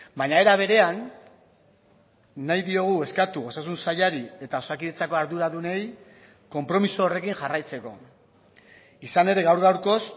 baina era berean nahi diogu eskatu osasun sailari eta osakidetzako arduradunei konpromiso horrekin jarraitzeko izan ere gaur gaurkoz